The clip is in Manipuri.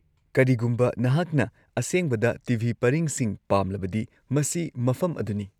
ꯀꯔꯤꯒꯨꯝꯕ ꯅꯍꯥꯛꯅ ꯑꯁꯦꯡꯕꯗ ꯇꯤ.ꯚꯤ. ꯄꯔꯤꯡꯁꯤꯡ ꯄꯥꯝꯂꯕꯗꯤ ꯃꯁꯤ ꯃꯐꯝ ꯑꯗꯨꯅꯤ꯫